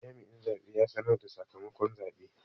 Jami'in zabe ya sanar da sakamakon zabe.